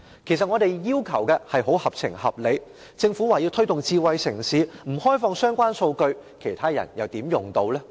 其實我們的要求合情合理，政府說要推動智慧城市，但若不開放相關數據，其他人又怎能使用呢？